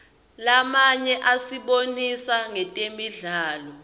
lamanye asibonisa ngetemidlalo